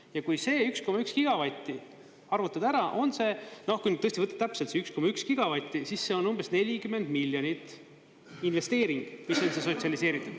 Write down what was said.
Ja kui see 1,1 gigavatti arvutada ära, on see, kui nüüd tõesti võtta täpselt see 1,1 gigavatti, siis see on umbes 40 miljonit – investeering, kui see sotsialiseerida.